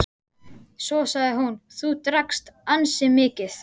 Svo sagði hún:-Þú drakkst ansi mikið.